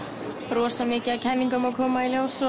rosa mikið af kenningum að koma í ljós